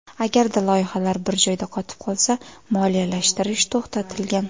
Agarda loyihalar bir joyda qotib qolsa, moliyalashtirish to‘xtatilgan.